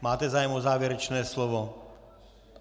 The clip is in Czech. Máte zájem o závěrečné slovo?